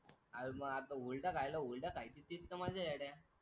आन मग आता हुरडा खायला हुरडा खायची तीच तर मजा आहे येड्या.